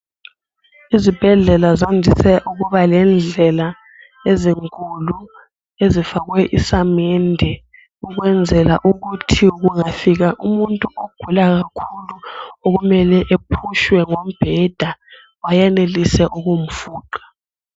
Izibhedlela zandise ukuba lendlela ezinkulu ezifakwe isamede ukwenzela ukuthi kungafika umuntu ogula kakhulu okufanele aphutshwe ngombeda bayenelise ukumfuqa.